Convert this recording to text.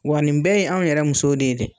Wa nin bɛɛ ye anw yɛrɛ muso de ye dɛ.